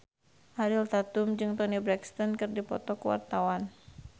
Ariel Tatum jeung Toni Brexton keur dipoto ku wartawan